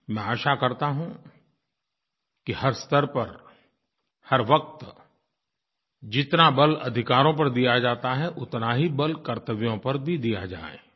मैं आशा करता हूँ कि हर स्तर पर हर वक़्त जितना बल अधिकारों पर दिया जाता है उतना ही बल कर्तव्यों पर भी दिया जाए